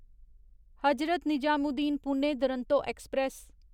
Hazrat Nizamuddin Pune Duronto express